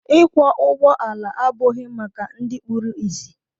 Ịkwọ ụgbọala abụghị maka ndị kpụrụ isi.